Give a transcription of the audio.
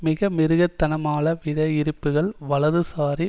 மிக மிருகத்தனமாள விடையிறுப்புக்கள் வலதுசாரி